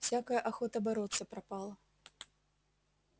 всякая охота бороться пропала